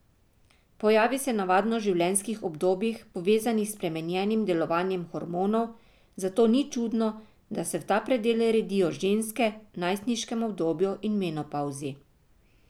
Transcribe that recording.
Pojavi se navadno v življenjskih obdobjih, povezanih s spremenjenim delovanjem hormonov, zato ni čudno, da se v ta predel redijo ženske v najstniškem obdobju in menopavzi.